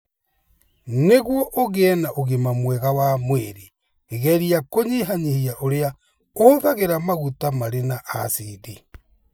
Nĩguo ũgĩe na ũgima mwega wa mwĩrĩ, geria kũnyihanyihia ũrĩa ũhũthagĩra maguta marĩ na acidi.